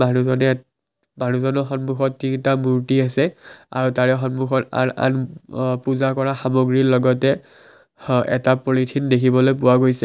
ইয়াত মানুহজনৰ সন্মুখত তিনিটা মূৰ্ত্তি আছে আৰু তাৰে সন্মুখত আন আন পূজা কৰা সামগ্ৰীৰ লগতে এটা হ পলিথিন দেখিবলৈ পোৱা গৈছে।